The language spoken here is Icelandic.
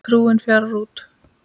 Trúin fjarar út